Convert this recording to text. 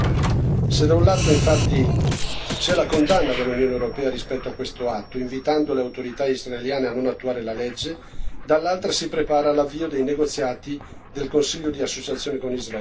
Se da un lato, infatti, c'è la condanna dell'Unione europea rispetto a questo atto, invitando le autorità israeliane a non attuare la legge, dall'altro si prepara all'avvio dei negoziati del Consiglio di associazione con Israele.